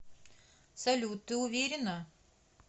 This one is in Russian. салют ты уверенна